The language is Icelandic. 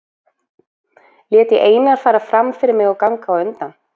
Lét ég Einar fara fram fyrir mig og ganga á undan.